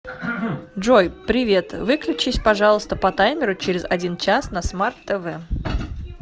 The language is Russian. джой привет выключись пожалуйста по таймеру через один час на смарт тв